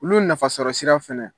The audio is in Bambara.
Olu nafasɔrɔsira fana.